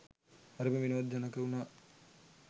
හරිම විනෝද ජනක උනා.